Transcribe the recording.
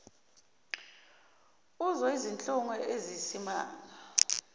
uzwa izinhlungu eziyisimanga